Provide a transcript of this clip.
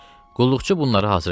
Qulluqçu bunları hazır elədi.